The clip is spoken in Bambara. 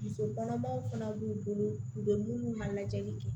Muso kɔnɔmaw fana b'u bolo u bɛ minnu ka lajɛli kɛ